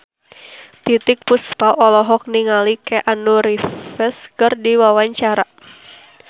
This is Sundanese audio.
Titiek Puspa olohok ningali Keanu Reeves keur diwawancara